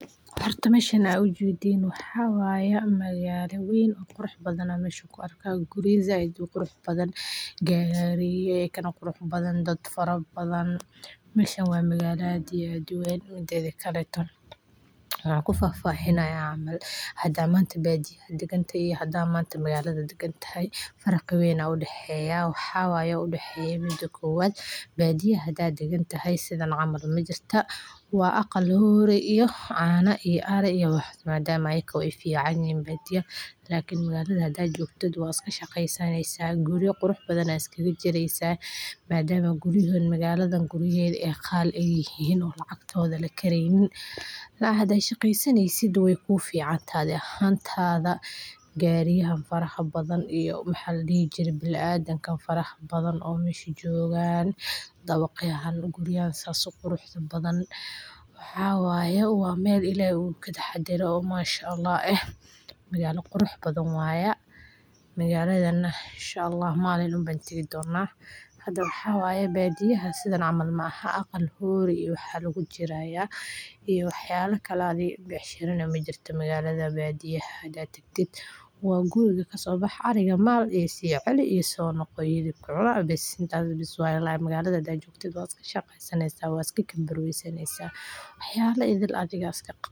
Waa mid ka mid ah isgoyska ganacsiga iyo madadaalada ee ugu caansan magaalada, kaas oo leh suuqa weyn ee xafiisyada shirkadaha, dukaamada caafimaadka, iyo goobaha cuntada ee kala duwan, waxaana lagu yaqaannaa deegaanka nidaamyadiisa casri ah iyo qaab-dhismeedkiisa hodan ah, halkaas oo ay dadku ka heli karaan wax kasta oo ay u baahnaan yihiin iyadoo lagu darayo madadaalo iyo farxad, waxaana jira goobaha lagu ciyaaro carruurta, salooyin tayo leh oo lagu qado, iyo suuqa ujeedkiisu yahay in uu bixiyo khibrad wanaagsan oo ay wadaagaan ganacsatada iyo macaamiisha, waxaana lagu talagalay in uu noqdo halka ugu habboon ee lagu soo booqdo xilliga fasaxa ama shaqada, iyadoo ay ku jirto nidaam amaan ah.